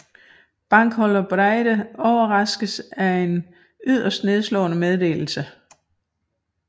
Bankbogholder Breide overraskes af en yderst nedslående meddelelse